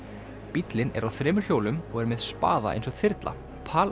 bíllinn er á þremur hjólum og er með eins og þyrla